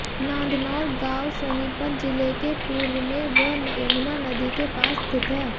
नांदनौर गाव सोनीपत जिले के पूर्व मे व यमुना नदी के पास स्थित है